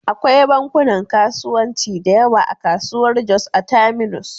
Akwai bankunan kasuwanci da yawa a kasuwar Jos a Terminus.